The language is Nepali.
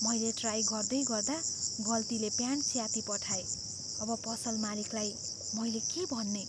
मैले ट्राइ गर्दैगर्दा गल्तीले प्यान्ट च्यातिपठाएँ। अब पसल मालिकलाई मैले के भन्ने?